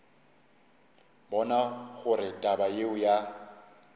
bona gore taba yeo ya